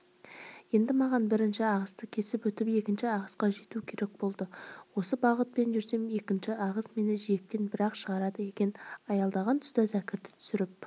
енді маған бірінші ағысты кесіп өтіп екінші ағысқа жету керек болды осы бағытпен жүрсем екінші ағыс мені жиектен бір-ақ шығарады екен аялдаған тұста зәкірді түсіріп